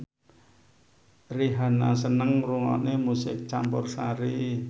Rihanna seneng ngrungokne musik campursari